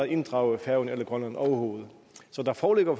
inddraget færøerne eller grønland overhovedet så der foreligger